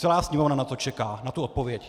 Celá Sněmovna na to čeká, na tu odpověď.